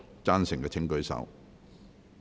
贊成的請舉手。